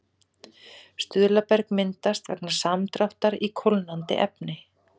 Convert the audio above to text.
Stuðlaberg myndast vegna samdráttar í kólnandi efni.